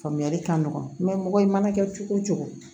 Faamuyali ka nɔgɔ mɔgɔ i mana kɛ cogo o cogo